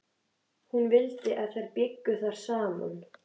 Hún vildi að þær byggju þar saman.